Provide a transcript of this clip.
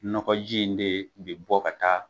Nɔgɔji in de bi bɔ ka taa